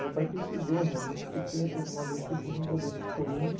Meu pai precisou realmente, porque teve uma vez que ele teve um problema de coluna.